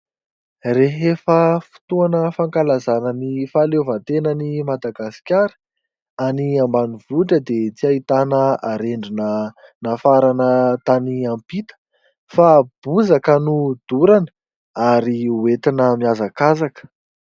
Rehefa fotoana fankalazana ny fahaleovan-tenan'i Madagasikara, any ambanivohitra dia tsy ahitana arendrina nafarana tany ampita fa bozaka no dorana ary hoentina mihazakazaka.